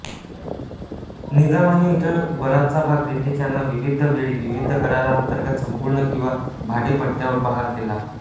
निजामाने इतर बराचसा भाग ब्रिटिशांना विविध वेळी विविध कराराअंतर्गत संपूर्ण किंवा भाडेपट्ट्यावर बहाल केला